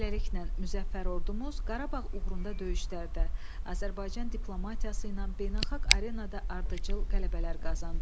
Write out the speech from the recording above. Beləliklə, müzəffər ordumuz Qarabağ uğrunda döyüşlərdə Azərbaycan diplomatiyası ilə beynəlxalq arenada ardıcıl qələbələr qazandı.